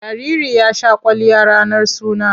Jariri ya sha kwalliya ranar suna.